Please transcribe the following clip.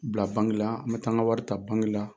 Bila banki la n bɛ taa n ka wari ta banki la